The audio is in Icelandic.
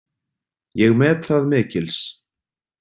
Ég met það mikils.